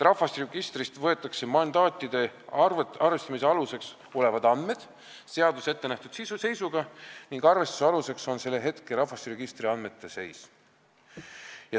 Rahvastikuregistrist võetakse mandaatide arvestamise aluseks olevad andmed seaduses ettenähtud seisuga ning arvestuse aluseks on selle hetke rahvastikuregistri andmete seis.